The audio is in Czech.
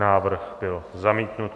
Návrh byl zamítnut.